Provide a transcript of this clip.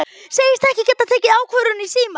Segist ekki geta tekið ákvörðun í síma.